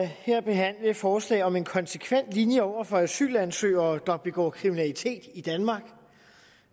her behandle et forslag om en konsekvent linje over for asylansøgere der begår kriminalitet i danmark